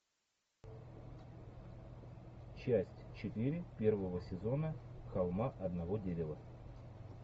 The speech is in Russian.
часть четыре первого сезона холма одного дерева